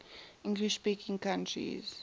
english speaking countries